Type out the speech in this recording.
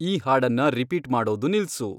ಈ ಹಾಡನ್ನ ರಿಪೀಟ್ ಮಾಡೋದು ನಿಲ್ಸು